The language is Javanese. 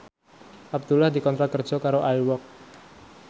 Abdullah dikontrak kerja karo Air Walk